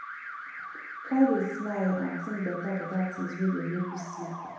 try dey smile and tink betabeta tins wey go mek yu smile